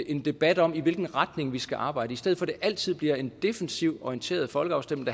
en debat om i hvilken retning vi skal arbejde i stedet for at det altid bliver en defensivt orienteret folkeafstemning